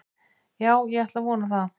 Já ég ætla að vona það.